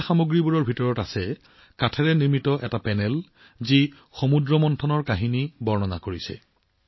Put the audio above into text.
ঘূৰাই দিয়া বস্তুবোৰৰ ভিতৰত কাঠৰ পেনেল এটাও আছে যিয়ে সাগৰৰ মন্থনৰ কাহিনী ৰোমন্থন কৰে